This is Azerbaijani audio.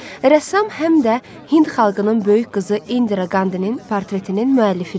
Rəssam həm də Hind xalqının böyük qızı İndira Qandinin portretinin müəllifidir.